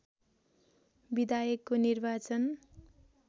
विधायकको निर्वाचन